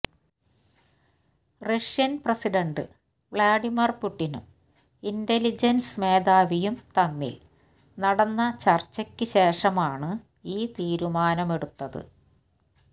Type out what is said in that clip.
Russian President Vladimir പുട്ടിനും intelligence മേധാവിയും തമ്മില് നടന്ന ചര്ച്ചയ്ക്ക് ശേഷമാണ് ഈ തീരുമാനമെടുത്തത്